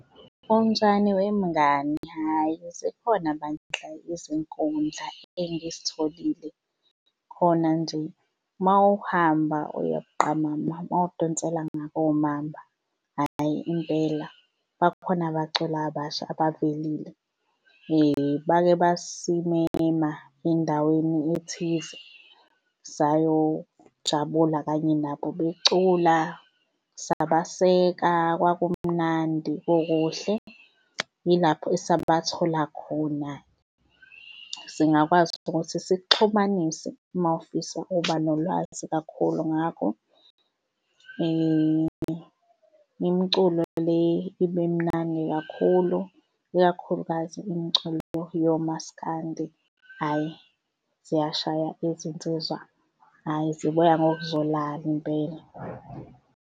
Unjani wemngani? Hhayi, zikhona bandla izinkundla engizitholile khona nje uma uhamba uya buqamama mawudonsela ngakoMamba. Hhayi impela bakhona abaculi abasha abavelile. Bake basimema endaweni ethize sayojabula kanye nabo becula sabaseka kwakumnandi kukuhle. Yilapho esabathola khona. Singakwazi nokuthi sikuxhumanise uma ufisa ukuba nolwazi kakhulu ngabo imculo le ibe mnandi kakhulu, ikakhulukazi imiculo yomasikandi, hhayi ziyashayisa izinsizwa, hhayi zibuya ngokuzolala impela.